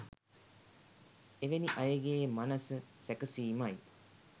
එවැනි අයගේ මනස සැකසීමයි.